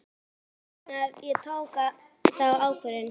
Ég veit hvenær ég tók þá ákvörðun.